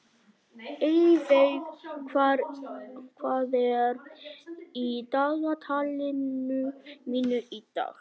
Eyveig, hvað er í dagatalinu mínu í dag?